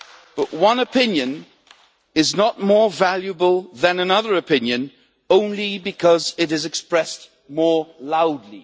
But one opinion is not more valuable than another opinion only because it is expressed more loudly.